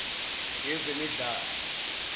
ezemidlalo